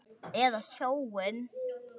Eða sjóinn?